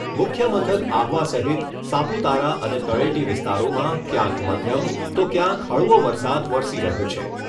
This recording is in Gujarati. મુખ્ય મથક આહવા સહીત સાપુતારા અને તળેટી વિસ્તારોમાં ક્યાંક મધ્યમ તો ક્યાંક હળવો વરસાદ વરસી રહ્યો છે.